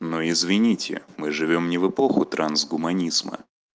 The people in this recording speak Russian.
ну извините мы живём не в эпоху трансгуманизма